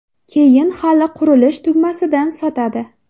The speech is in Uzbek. Keyin hali qurilish tugamasidan sotadi.